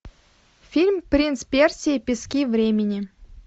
фильм принц персии пески времени